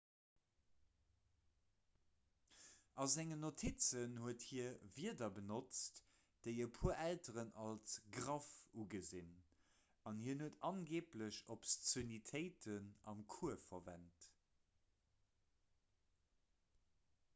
a sengen notizen huet hie wierder benotzt déi e puer elteren als graff ugesinn an hien huet angeeblech obszönitéiten am cours verwent